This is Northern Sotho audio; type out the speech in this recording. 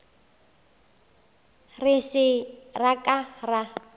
re se ra ka ra